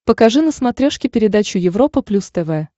покажи на смотрешке передачу европа плюс тв